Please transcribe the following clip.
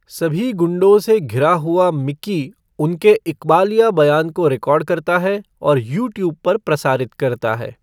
सभी गुंडों से घिरा हुआ मिकी उनके इक़बालिया बयान को रिकॉर्ड करता है और यूट्यूब पर प्रसारित करता है।